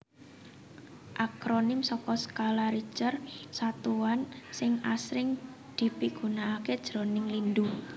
Akronim saka Skala Richter satuan sing asring dipigunakaké jroning lindhu